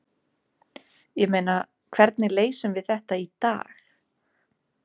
Ég meina, hvernig leysum við þetta í dag?